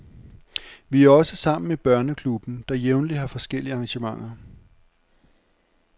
Vi er også sammen i børneklubben, der jævnligt har forskellige arrangementer.